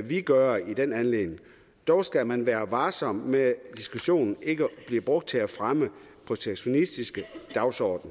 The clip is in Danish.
vil gøre i den anledning dog skal man være varsom med at diskussionen ikke bliver brugt til at fremme en protektionistisk dagsorden